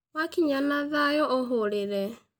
Wakinya na thayũ ũhũrĩre